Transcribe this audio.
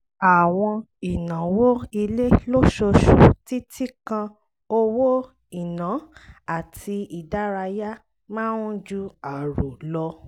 àwọn ìnáwó ilé lóṣooṣù títí kan owó iná àti ìdárayá máa ń ju àrò lọ